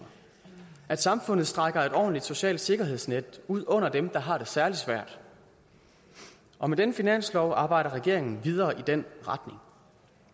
at samfundet strækker et ordentligt socialt sikkerhedsnet ud under dem der har det særlig svært og med denne finanslov arbejder regeringen videre i den retning